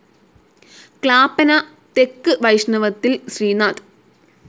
ക്ലാപ്പന തെക്ക് വൈഷ്ണവത്തിൽ ശ്രീനാഥ്